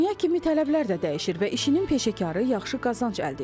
Dünya kimi tələbələr də dəyişir və işinin peşəkarı yaxşı qazanc əldə edir.